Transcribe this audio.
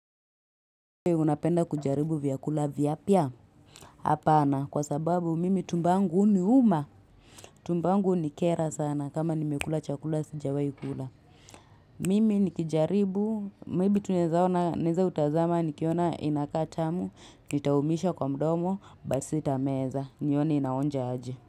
Uwe unapenda kujaribu vyakula vyapia? Hapana kwa sababu mimi tumbo angu uniuma. Tumbangu unikera sana kama nimekula chakula sijawai kula. Mimi nikijaribu. Maybe tunezaona, neza utazama nikiona inakaa tamu, nitaumisha kwa mdomo, basita meza, nione inaonja aje.